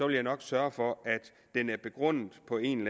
ville nok sørge for at den var begrundet på en